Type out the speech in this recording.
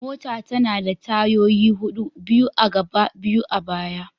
Mota tana da tayoyi hudu, biyu a gaba biyu a baya.